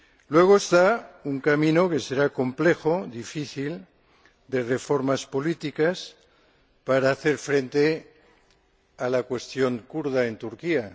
Luego está un camino, que será complejo y difícil, de reformas políticas, para hacer frente a la cuestión kurda en Turquía.